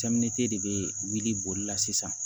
de bɛ wuli boli sisan